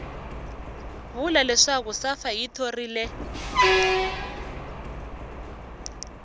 vula leswaku safa yi thorile